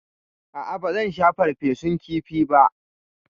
A'a, ba zan sha farfesun kifi ba.